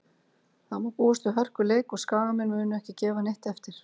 Það má búast við hörkuleik og Skagamenn munu ekki gefa neitt eftir.